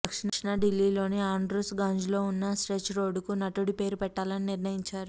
దక్షిణ ఢిల్లీలోని ఆండ్రూస్ గంజ్లో ఉన్న స్ట్రెచ్ రోడ్డుకు నటుడి పేరు పెట్టాలని నిర్ణయించారు